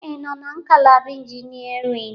Ị nọ na ngalaba Engineering?